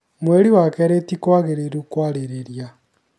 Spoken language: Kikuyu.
"Mweri wa Kerĩ tĩkwagĩrĩrũ kwarĩrĩria